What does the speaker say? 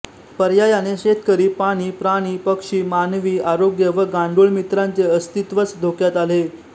पर्यायाने शेतकरी पाणी प्राणी पक्षी मानवी आरोग्य व गांडूळ मित्रांचे अस्तित्वच धोक्यात आले